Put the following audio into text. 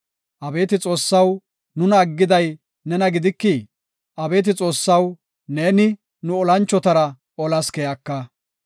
Abeeti Xoossaw, nuna aggiday nena gidikii? Abeeti Xoossaw neeni nu olanchotara olas keyaka.